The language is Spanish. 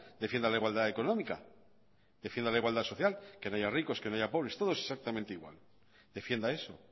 defienda la igualdad económica defienda la igualdad social que no haya ricos que no haya pobres todos exactamente igual defienda eso